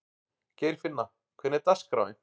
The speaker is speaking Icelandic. Geirfinna, hvernig er dagskráin?